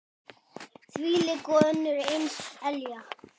Þvílík og önnur eins elja.